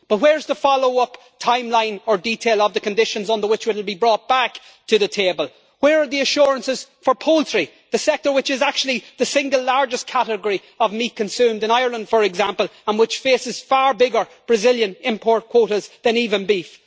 But where is the follow up timeline or detail of the conditions under which it will be brought back to the table? Where are the assurances for poultry, the sector which is actually the single largest category of meat consumed in Ireland, for example, and which faces far bigger Brazilian import quotas than even beef?